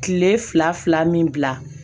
Kile fila fila min bila